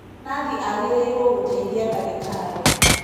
Nathi agĩrĩirwo gũteithia dagĩtarĩ.